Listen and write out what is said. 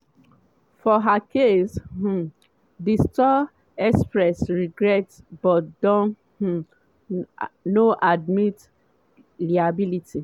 for her case um di store express regret but dem um no admit liability.